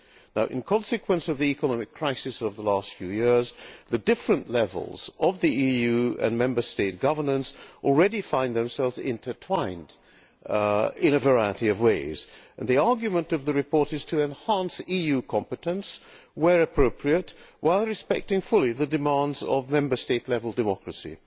Now in consequence of the economic crisis of the last few years, the different levels of the EU and Member State governance already find themselves intertwined in a variety of ways. The argument of the report is to enhance EU competence where appropriate while respecting fully the demands of Member State level democracy.